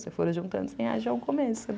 Se eu for juntando cem reais já é um começo, né?